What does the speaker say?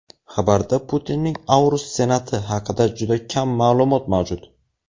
xabarda Putinning Aurus Senat’i haqida juda kam ma’lumot mavjud.